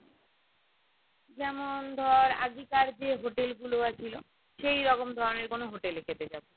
যেমন ধরে আগেকার যে hotel গুলো আহ ছিল সেইরকম ধরণের কোনো hotel এ খেতে যাবো